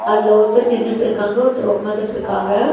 அதுல ஒருத்தர் நின்னுட்ருக்காங்க ஒருத்தர் உக்காந்துட்ருக்காங்க.